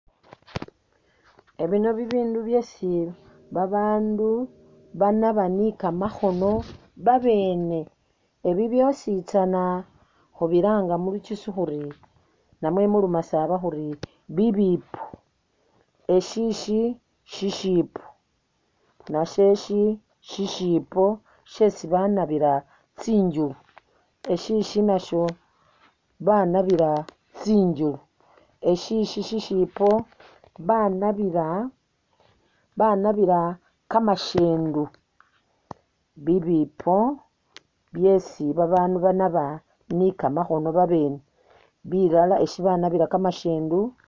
Ebino bibindu byesi abaandu banaba ni kamakhono babene. Ebi byositsana khubilanga mu lugisu namwe mu lumasaba khuri bibipo. eshishi shishipo, nasheshi shisipo shesi banabila tsinjulu eshishi nasho banabila tsinjulu, eshishi shisipo banabila banabila kamashendu bibimpo byesi abaandu banaba ni'kamakhono babene bilala eshi banabila kamashendu.